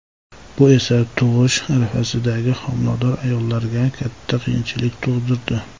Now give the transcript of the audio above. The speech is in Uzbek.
Bu esa tug‘ish arafasidagi homilador ayollarga katta qiyinchiliklar tug‘dirdi.